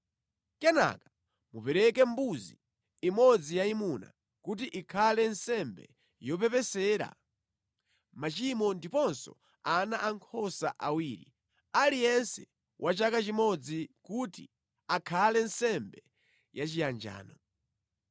Kenaka mupereke mbuzi imodzi yayimuna kuti ikhale nsembe yopepesera machimo ndiponso ana ankhosa awiri, aliyense wa chaka chimodzi kuti akhale nsembe yachiyanjano.